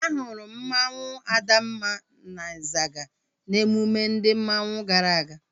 A hụrụ m mmanwu Adamma na Izaga n'emume ndị mmanwu gara aga